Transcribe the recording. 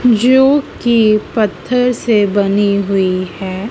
जो कि पत्थर से बनी हुई है।